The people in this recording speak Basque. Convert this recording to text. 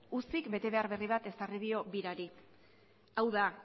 ucik betebehar berri bat ezarri dio birari hau da